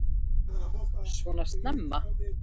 Svona snemma?